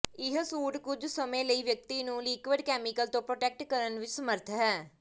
ਇਹ ਸੂਟ ਕੁਝ ਸਮੇਂ ਲਈ ਵਿਅਕਤੀ ਨੂੰ ਲਿਕਵਿਡ ਕੈਮੀਕਲ ਤੋਂ ਪ੍ਰੋਟੈਕਟ ਕਰਨ ਵਿਚ ਸਮੱਰਥ ਹੈ